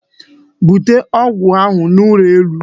Bute ọgwụ ahụ n'ụlọ elu!